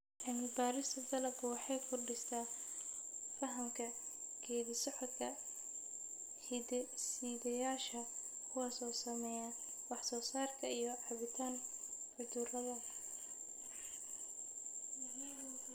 Cilmi-baarista dalaggu waxay kordhisaa fahamka geeddi-socodka hidde-sideyaasha, kuwaas oo saameeya wax-soo-saarka iyo caabbinta cudurrada.